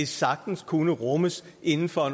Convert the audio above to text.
sagtens kunne rummes inden for